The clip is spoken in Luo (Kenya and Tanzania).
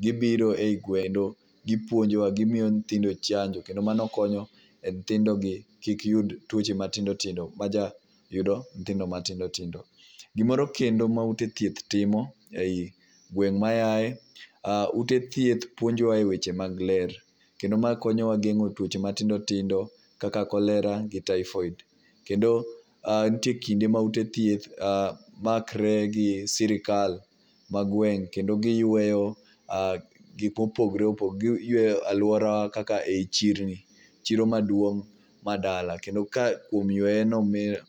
Gibiro e gweng kendo gipuonjowa, gimiyo nyithindo chanjo kendo mano konyowa mi nyithjindogi kik yud tuoche matindo tindogi. Gimoro kendo maute thieth timo ei gweng' ma aaye aa ute thieth puonjowa e weche mag ler. Kendo maa konyo wa e geng'o tuoche matindo tindo kaka cholera gi typhoid. Kendo nitie kinde ma ute thieth makre gi sirkal ma gweng' kendo giyweyo gik mopogore opogore, giyueyo aluora kaka i chirni , chiro maduong' ma dala, kendo ka kuom yueyo.